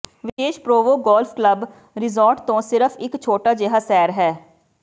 ਵਿਸ਼ੇਸ਼ Provo golf club resort ਤੋਂ ਸਿਰਫ ਇੱਕ ਛੋਟਾ ਜਿਹਾ ਸੈਰ ਹੈ